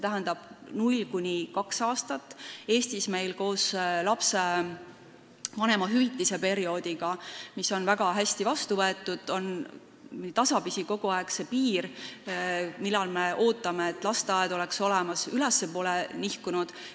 Eestis on koos vanemahüvitise tekkimisega, mis on küll väga hästi vastu võetud, see piir, millal lasteaiakoht peaks olemas olema, tasapisi kogu aeg ülespoole nihkunud.